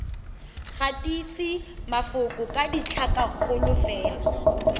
gatise mafoko ka ditlhakakgolo fela